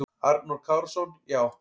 Arnór Kárason: Já.